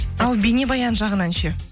ал бейнебаян жағынан ше